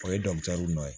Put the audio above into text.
O ye dɔ ye